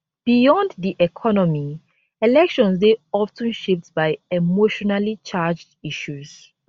beyond di economy elections dey of ten shaped by emotionallycharged issues